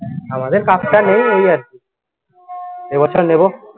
আমাদের cup টা নেই এই আরকি এবছর নেব।